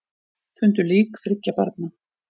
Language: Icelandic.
Fundu lík þriggja barna